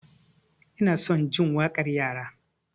Ina son jin waƙar yara.